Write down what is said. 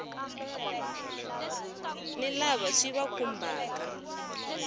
ta lava swi va khumbhaka